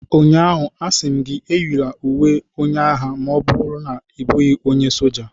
Ụnyaahụ, a sị m gị, eyila uwe onye agha ma ọ bụrụ na ị bụghị onye soja!